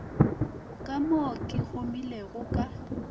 ka mo ke humilego ka